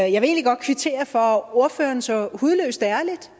egentlig godt kvittere for at ordføreren så hudløst ærligt